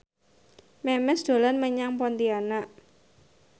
Memes dolan menyang Pontianak